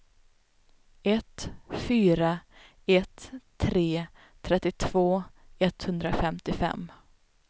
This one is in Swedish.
ett fyra ett tre trettiotvå etthundrafemtiofem